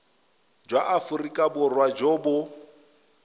jwa aforika borwa jo bo